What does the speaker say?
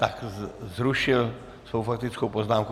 Tak zrušil svou faktickou poznámku.